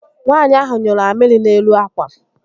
Nwata ahụ nyụrụ amịrị n'elu ákwà